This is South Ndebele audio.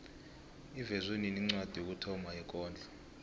ivezwe nini incwadi yokuthoma yekondlo